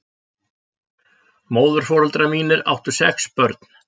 Móðurforeldrar mínir áttu sex börn.